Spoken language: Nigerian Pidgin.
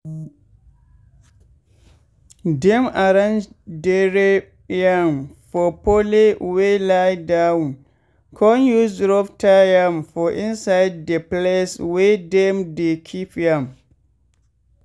dem arrange dere yam for pole wey lie down con use rope tie am for inside de place wey dem dey keep yam.